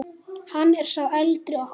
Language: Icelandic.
Hann er sá eldri okkar.